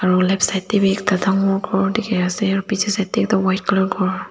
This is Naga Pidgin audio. aru left side te bi ekta dangor ghor dikhi ase aru piche side te toh white colour ghor.